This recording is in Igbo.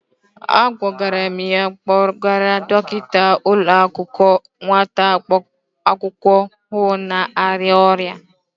Agwara m ya kpọrọgara Dọkịta ụlọakwụkwọ nwata akwụkwọ ahụ na-arịa ọrịa.